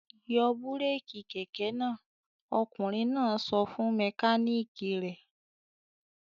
"Yọ búrékì kẹ̀kẹ́ náà! Ọkùnrin náà sọ fún mẹkáníkì rẹ̀.